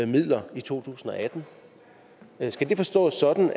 midler i to tusind og atten skal det forstås sådan